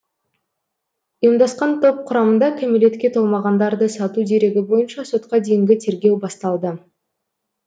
ұйымдасқан топ құрамында кәмелетке толмағандарды сату дерегі бойынша сотқа дейінгі тергеу басталды